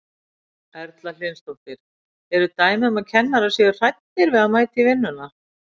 Erla Hlynsdóttir: Eru dæmi um að kennarar séu hræddir við að mæta í vinnuna?